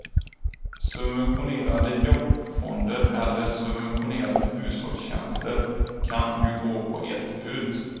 Subventionerade jobbfonder eller subventionerade hushållstjänster kan ju gå på ett ut.